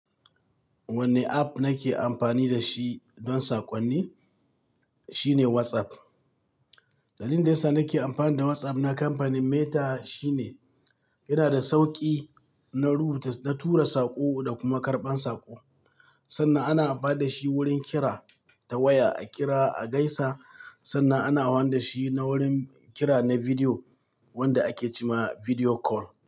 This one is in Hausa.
Wanne app nake amfani da shi don saƙonni, shine WhatsApp. Dalilin da yasa nake amfani da WhatsApp na kamfanin Meta shine yana da sauƙi na rubuta, na tura saƙo da kuma karɓan saƙo. Sannan ana amfani da shi wurin kira ta waya, a kira, a gaisa. Sannan ana amfani da shi na wurin kira na bidiyo wanda ake ce ma bidiyo call.